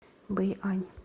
бэйань